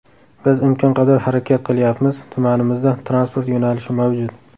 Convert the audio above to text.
Biz imkon qadar harakat qilyapmiz, tumanimizda transport yo‘nalishi mavjud.